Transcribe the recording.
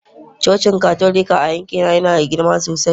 Cocin Katolika a yankina yana da girma sosai